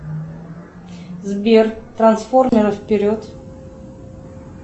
сбер трансформеры вперед